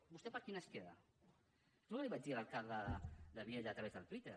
vostè quina es queda és el que li vaig dir a l’alcalde de vielha a través del twitter